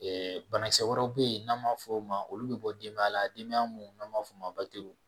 banakisɛ wɛrɛ be ye n'an ma f'ɔ ma olu be bɔ demaya la demaya mun n'an b'a f'ɔ ma w